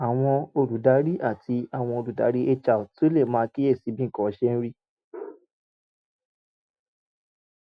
àwọn olùdarí àti àwọn olùdarí hr tún lè máa kíyè sí bí nǹkan ṣe ń rí